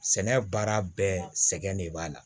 Sɛnɛ baara bɛɛ sɛgɛn de b'a la